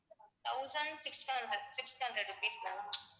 thousand six hundred six hundred rupees ma'am